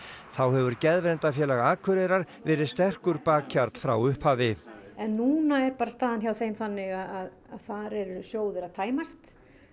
þá hefur Akureyrar verið sterkur bakhjarl frá upphafi en núna er bara staðan hjá þeim þannig að þar eru sjóðir að tæmast